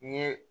N ye